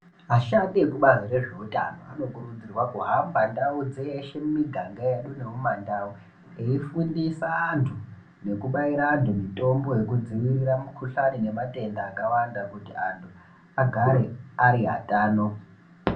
Ashandi ekubazi rezveutano anokurudzirwa kuhamba ndau dzeshe mumiganga yedu nemumandau veifundisa antu neukubaire vantu mitombo yekudzivirira mikuhlani nematenda akawanda kuti antu agare ari atano.